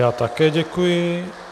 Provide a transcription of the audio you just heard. Já také děkuji.